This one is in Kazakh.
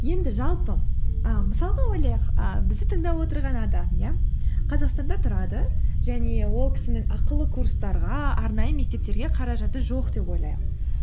енді жалпы і мысалға ойлайық і бізді тыңдап отырған адам иә қазақстанда тұрады және ол кісінің ақылы курстарға арнайы мектептерге қаражаты жоқ деп ойлайық